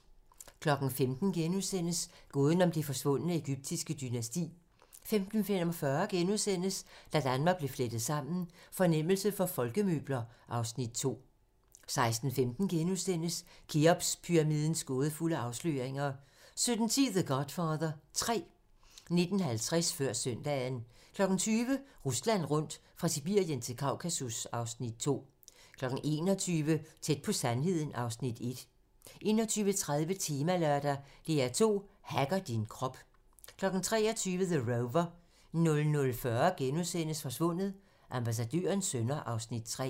15:00: Gåden om det forsvundne egyptiske dynasti * 15:45: Da Danmark blev flettet sammen: Fornemmelse for folkemøbler (Afs. 2)* 16:15: Kheopspyramidens gådefulde afsløringer * 17:10: The Godfather 3 19:50: Før søndagen 20:00: Rusland rundt - fra Sibirien til Kaukasus (Afs. 2) 21:00: Tæt på sandheden (Afs. 1) 21:30: Temalørdag: DR2 hacker din krop 23:00: The Rover 00:40: Forsvundet: Ambassadørens sønner (Afs. 3)*